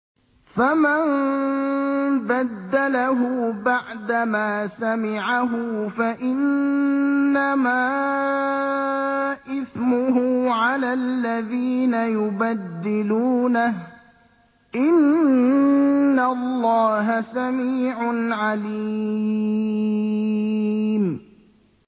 فَمَن بَدَّلَهُ بَعْدَمَا سَمِعَهُ فَإِنَّمَا إِثْمُهُ عَلَى الَّذِينَ يُبَدِّلُونَهُ ۚ إِنَّ اللَّهَ سَمِيعٌ عَلِيمٌ